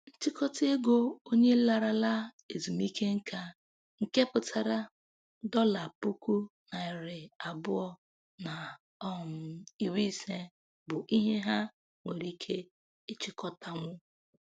Nchịkọta ego onye larala ezumike nka, nke pụtara dọla puku narị abụọ na um iri ise, bụ ihe ha nwere ike ịchịkọtanwu.